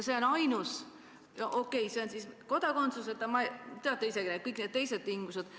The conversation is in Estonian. Okei, see on siis kodakondsuseta vanem ja teate ise ka, kõik need teised tingimused.